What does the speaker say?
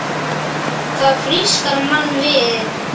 Það frískar mann við.